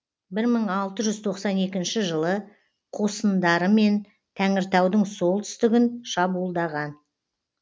бір мың алты жүз тоқсан екінші жылы қосындарымен тәңіртаудың солтүстігін шабуылдаған